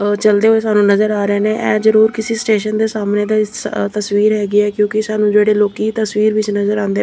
ਉਹ ਚਲਦੇ ਹੋਏ ਸਾਨੂੰ ਨਜ਼ਰ ਆ ਰਹੇ ਨ ਇਹ ਜ਼ਰੂਰ ਕਿਸੇ ਸਟੇਸ਼ਨ ਦੇ ਸਾਹਮਣੇ ਦੇ ਤਸਵੀਰ ਹੈਗੀ ਆ ਕਿਉਂਕਿ ਸਾਨੂੰ ਜਿਹੜੇ ਲੋਕੀ ਤਸਵੀਰ ਵਿੱਚ ਨਜ਼ਰ ਆਉਂਦੇ --